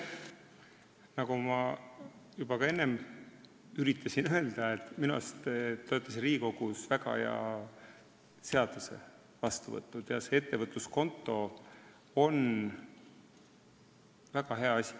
Ma üritasin juba ka enne öelda, et minu arust te olete siin Riigikogus väga hea seaduse vastu võtnud – ettevõtluskonto on väga hea asi.